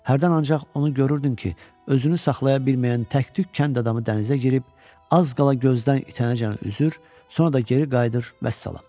Hərdən ancaq onu görürdün ki, özünü saxlaya bilməyən tək-tük kənd adamı dənizə girib, az qala gözdən itənəcən üzür, sonra da geri qayıdır, vəssalam.